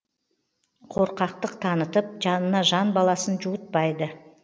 қорқақтық танытып жанына жан баласын жуытпайды